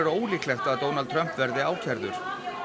ólíklegt að Donald Trump verði ákærður